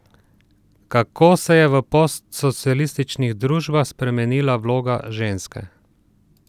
Kako se je v postsocialističnih družbah spremenila vloga ženske?